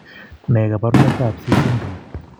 Ne kaabarunetap C syndrome?